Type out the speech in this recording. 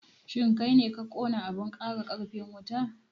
shin kaine ka kona abun ƙara ƙarfin wuta?